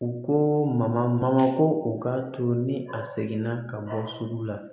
U ko ma ko u ka to ni a seginna ka bɔ sugu la